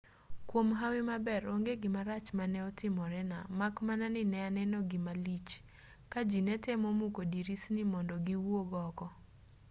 kwom hawi maber onge gimarach mane otimorena mak mana ni ne aneno gima lich ka ji ne temo muko dirisni mondo giwuog oko